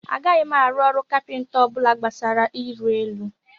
Agaghị m arụ ọrụ kapịnta ọ bụla gbasara iri elu